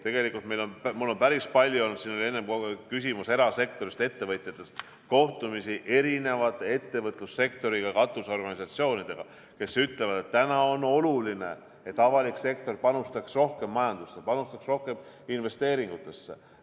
Tegelikult mul on päris palju olnud – siin oli enne kogu aeg küsimus erasektorist, ettevõtjatest – kohtumisi eri ettevõtlussektori katusorganisatsioonidega, kes ütlevad, et täna on oluline, et avalik sektor panustaks rohkem majandusse, panustaks rohkem investeeringutesse.